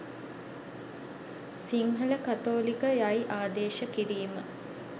සිංහල කතෝලික යයි ආදේශ කිරීම